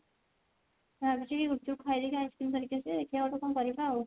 ଭାବିଛି କି ଗୁପଚୁପ୍ ଖାଇଦେଇକି ice cream ଧରିକି ଆସିବି ଦେଖିଆ ଗୋଟେ କଣ କରିବା ଆଉ